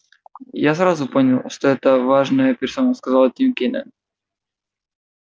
я сразу понял что это важная персона сказал тим кинен